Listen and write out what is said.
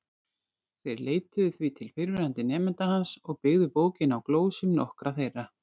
Þeir leituðu því til fyrrverandi nemenda hans og byggðu bókina á glósum nokkurra þeirra.